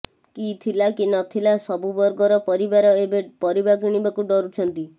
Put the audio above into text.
କି ଥିଲା କି ନଥିଲା ସବୁବର୍ଗର ପରିବାର ଏବେ ପରିବା କିଣିବାକୁ ଡରୁଛନ୍ତି